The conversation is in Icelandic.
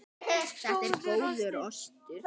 Þetta er góður ostur.